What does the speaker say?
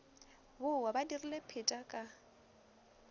bowa ba dirile pheta ka